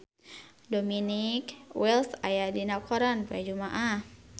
Dominic West aya dina koran poe Jumaah